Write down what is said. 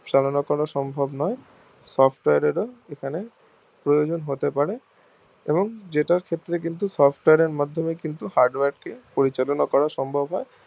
চালানো সম্ভব নয় software এর ও এখানে প্রয়োজন হতে পারে এবং জেতার ক্ষেত্রে কিন্তু সফটওয়্যার এর মাধ্যমে কিন্তু hardware কে পরিচালনা করা সম্ভব হয়